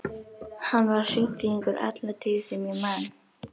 Hann var sjúklingur alla tíð sem ég man.